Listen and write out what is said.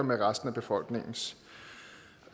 med resten af befolkningens